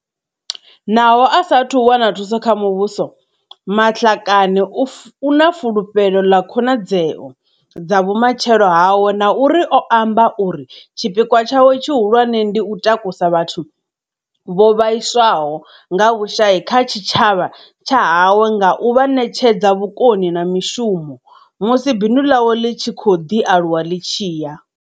Naho a sa athu wana thuso kha muvhuso, Matlakane u na fulufhelo ḽa khonadzeo dza vhu matshelo hawe na uri o amba uri tshipikwa tshawe tshihul wane ndi u takusa vhathu vho vhaiswaho nga vhushai kha tshitshavha tsha hawe nga u vha ṋetshedza vhukoni na mushumo, musi bindu ḽawe ḽi tshi khou ḓi aluwa ḽi tshi ya.